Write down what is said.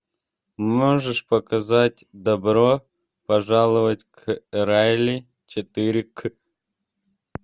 можешь показать добро пожаловать к райли четыре к